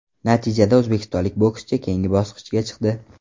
Natijada o‘zbekistonlik bokschi keyingi bosqichga chiqdi.